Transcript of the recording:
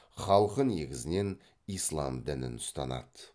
халқы негізінен ислам дінін ұстанады